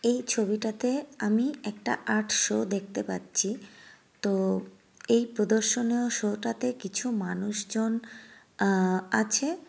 এই ছবিটাতে আমি একটা আর্ট শো দেখতে পাচ্ছি তো এই প্রদর্শনেও শো টাতে কিছু মানুষজন আ-আছে।